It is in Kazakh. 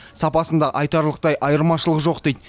сапасында айтарлықтай айырмашылық жоқ дейді